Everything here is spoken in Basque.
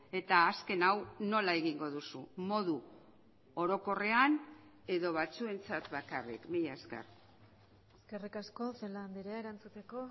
eta azken hau nola egingo duzu modu orokorrean edo batzuentzat bakarrik mila esker eskerrik asko celaá andrea erantzuteko